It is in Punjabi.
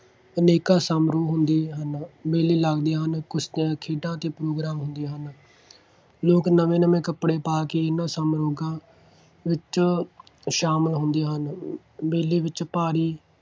ਅਨੇਕਾਂ ਸਮਾਰੋਹ ਹੁੰਦੇ ਹਨ। ਮੇਲੇ ਲੱਗਦੇ ਹਨ। ਕੁਸ਼ਤੀਆਂ, ਖੇਡਾਂ ਅਤੇ program ਹੁੰਦੇ ਹਨ। ਲੋਕ ਨਵੇਂ ਨਵੇਂ ਕੱਪੜੇ ਪਾ ਕੇ ਇਹਨਾ ਸਮਾਰੋਹਾਂ ਵਿੱਚ ਸ਼ਾਮਿਲ ਹੁੰਦੇ ਹਨ। ਮੇਲੇ ਵਿੱਚ ਭਾਰੀ